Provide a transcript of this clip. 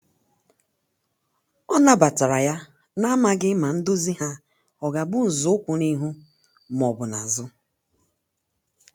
ọ na batara yana amaghi ma ndozi ha ọga bụ nzọụkwụ n'ihu ma ọbụ n'azu